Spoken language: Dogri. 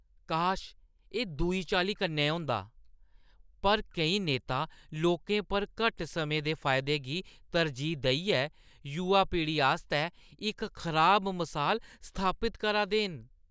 काश, एह् दूई चाल्ली कन्नै होंदा, पर केईं नेता लोकें पर घट्ट समें दे फायदें गी तरजीह् देइयै युवा पीढ़ी आस्तै इक खराब मसाल स्थापत करा दे न।